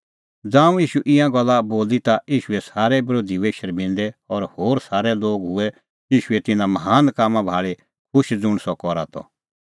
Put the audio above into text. ज़ांऊं ईशू ईंयां गल्ला बोली ता ईशूए सारै बरोधी हुऐ शर्मिंदै और होर सारै लोग हुऐ ईशूए तिन्नां महान कामां भाल़ी खुश ज़ुंण सह करा त